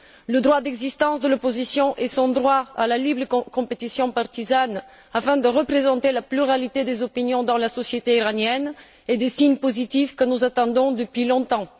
Le droit d'existence de l'opposition et son droit à une libre compétition entre partis permettant de représenter la pluralité des opinions dans la société iranienne sont des signes positifs que nous attendons depuis longtemps.